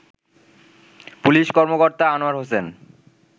police কর্মকর্তা আনোয়ার হোসেন